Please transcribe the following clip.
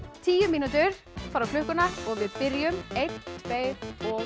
tíu mínútur fara á klukkuna og við byrjum einn tveir og